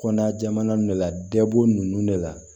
Kɔnɔna jamana de la dɛ boo nunnu de la